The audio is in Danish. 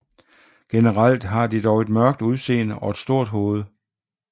Generelt har de dog et mørkt udseende og et stort hoved